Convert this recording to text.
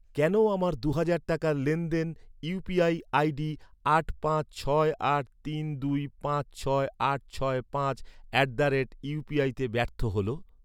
কেন আমার দু'হাজার টাকার লেনদেন ইউ.পি.আই আই.ডি আট পাঁচ ছয় আট তিন দুই পাঁচ ছয় আট ছয় পাঁচ অ্যাট দ্য রেট ইউপিআইতে ব্যর্থ হল?